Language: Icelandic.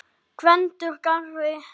Gvendur garri.